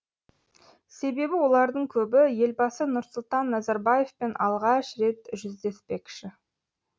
себебі олардың көбі елбасы нұрсұлтан назарбаевпен алғаш рет жүздеспекші